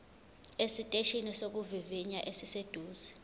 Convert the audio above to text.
esiteshini sokuvivinya esiseduze